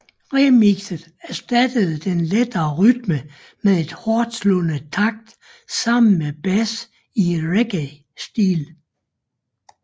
Remixet erstattede den lette rytme med et hårdslående takt sammen med bas i reggaestil